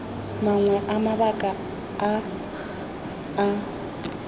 mangwe a mabaka a a